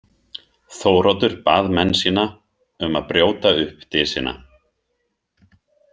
Þóroddur bað menn sína um að brjóta upp dysina.